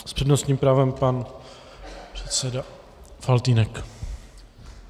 S přednostním právem pan předseda Faltýnek.